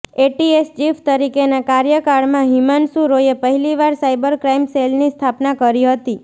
ATS chief તરીકેના કાર્યકાળમાં હિમાંશુ રોયે પહેલીવાર સાઈબર ક્રાઈમ સેલની સ્થાપના કરી હતી